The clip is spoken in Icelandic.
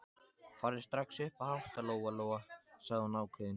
Farðu strax upp að hátta, Lóa-Lóa, sagði hún ákveðin.